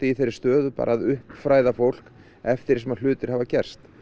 í þessi stöðu að uppfræða fólk eftir því sem hlutir hafa gerst